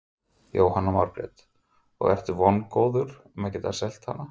Jóhanna Margrét: Og ertu vongóður að geta selt hana?